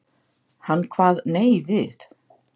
Hann kvað nei við.